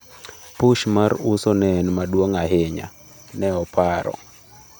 ""Push mar uso ne en maduong' ahinya,"" ne oparo.